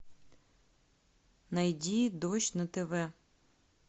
найди дождь на тв